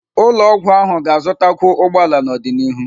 Ụlọ ọgwụ ahụ ga-azụtakwu ụgbọ ala n'ọdịnihu.